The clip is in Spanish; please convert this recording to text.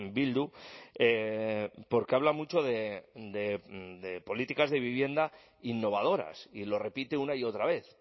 bildu porque habla mucho de políticas de vivienda innovadoras y lo repite una y otra vez